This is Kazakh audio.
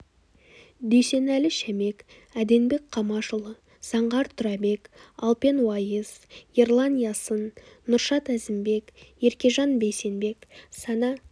дүйсенәлі шәмек әденбек қамашұлы заңғар тұрабек алпен уайыс ерлан ясын нұршат әзімбек еркежан бейсенбек сана